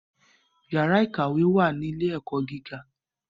Yàrá ìkàwé wà ní ilé - ẹ̀kọ́ gíga